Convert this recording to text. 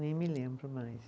Nem me lembro mais.